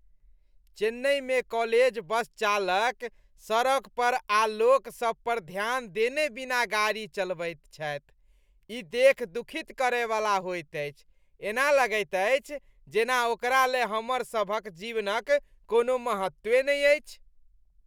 चेन्नईमे college bus चालक सड़क पर आर लोकसभ पर ध्यान देने बिना कोना गाड़ी चलबैत छथि, ई देखि दुखित करय वाला होइत अछि। एना लगैत अछि जेना ओकरा ले हमरसभक जीवनक कोनो महत्व नहि अछि।